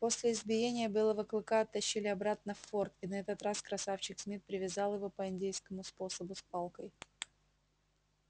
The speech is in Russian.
после избиения белого клыка оттащили обратно в форт и на этот раз красавчик смит привязал его по индейскому способу с палкой